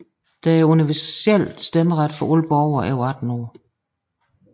Der er universel stemmeret for alle borgere over 18 år